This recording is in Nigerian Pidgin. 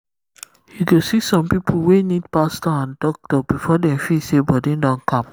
you go see some people wey need pastor and doctor before dem feel say body don calm.